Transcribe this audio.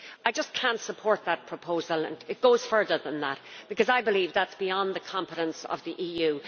I just cannot support that proposal and it goes further than that because I believe that is beyond the competence of the EU.